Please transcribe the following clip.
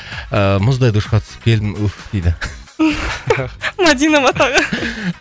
ыыы мұздай душқа түсіп келдім үһ дейді мадина ма тағы